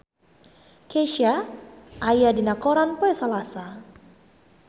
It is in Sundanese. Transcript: Kesha aya dina koran poe Salasa